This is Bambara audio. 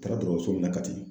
Taara dɔtɔrɔso min na Kati